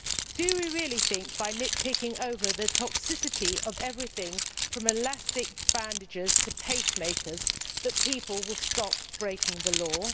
Do we really think that by nitpicking over the toxicity of everything, from elastic bandages to pacemakers, people will stop breaking the law?